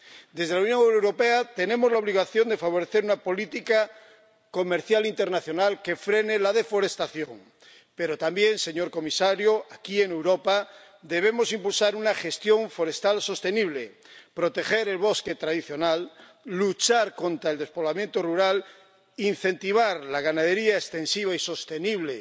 Desde la Unión Europea tenemos la obligación de favorecer una política comercial e internacional que frene la deforestación, pero también, señor comisario, aquí, en Europa, debemos impulsar una gestión forestal sostenible, proteger el bosque tradicional, luchar contra el despoblamiento rural, incentivar la ganadería extensiva y sostenible,